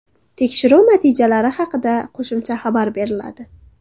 Tekshiruv natijalari haqida qo‘shimcha xabar beriladi.